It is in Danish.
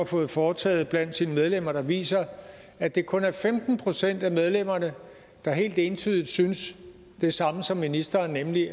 fået foretaget blandt sine medlemmer der viser at det kun er femten procent af medlemmerne der helt entydigt synes det samme som ministeren nemlig